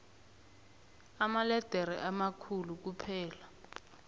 amaledere amakhulu kuphela